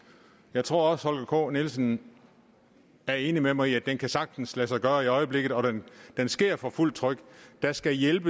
jeg tror også herre holger k nielsen er enig med mig i at den sagtens kan lade sig gøre i øjeblikket og at den sker for fuldt tryk der skal hjælp